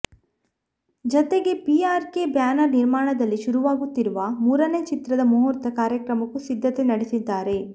ಜತೆಗೆ P R K banner ನಿರ್ಮಾಣದಲ್ಲಿ ಶುರುವಾಗುತ್ತಿರುವ ಮೂರನೇ ಚಿತ್ರದ ಮುಹೂರ್ತ ಕಾರ್ಯಕ್ರಮಕ್ಕೂ ಸಿದ್ಧತೆ ನಡೆಸಿದ್ದಾರೆ